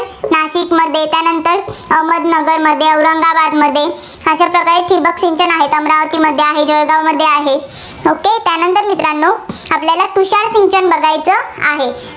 नाशिकमध्ये, त्यानंतर अहमदनगरमध्ये, औरंगाबादमध्ये अशा प्रकारे ठिबक सिंचन आहे. अमरावतीमध्ये आहे, जळगावमध्ये आहे. त्यानंतर मित्रांनो आपल्याला तुषार सिंचन बघायचं आहे.